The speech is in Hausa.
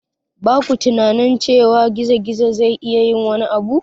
Ba ku tunanin cewa gizo-gizo zai iya yin wani abu?